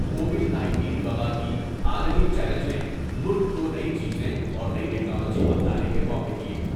Covid nineteen و با کی عالمی چیلنج نے ملک کونئی چیزیں اور نئی ٹیکنالوجی اپنانے کے موقع دیئے ۔